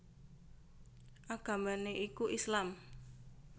Agamané iku Islam